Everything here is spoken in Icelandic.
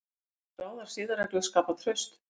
Geta skráðar siðareglur skapað traust?